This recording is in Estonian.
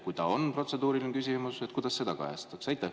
Kui see on protseduuriline küsimus, siis kuidas seda kajastatakse?